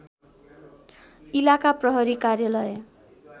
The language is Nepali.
इलाका प्रहरी कार्यालय